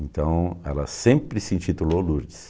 Então ela sempre se intitulou Lourdes.